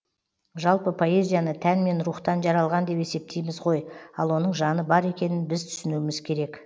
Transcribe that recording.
жалпы поэзияны тән мен рухтан жаралған деп есептейміз ғой ал оның жаны бар екенін біз түсінуіміз керек